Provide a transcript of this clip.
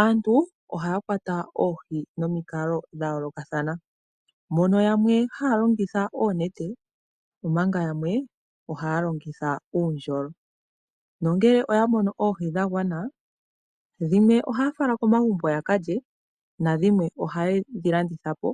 Aantu ohaya kwata Oohi nomikalo dha yoolokathana mono yamwe haya longitha oonete omanga yamwe ohaya longitha uundjolo. No ngele oya mono Oohi dha gwana dhimwe ohaya fala komagumbo ya kalye, na dhimwe oha yedhi landithapo